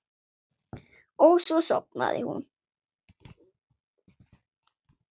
Og svo sofnaði hún.